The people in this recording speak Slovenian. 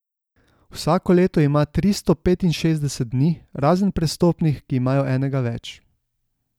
Vsako leto ima tristo petinšestdeset dni, razen prestopnih, ki imajo enega več.